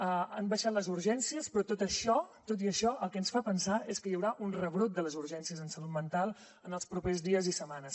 han baixat les urgències però tot i això el que ens fa pensar és que hi haurà un rebrot de les urgències en salut mental en els propers dies i setmanes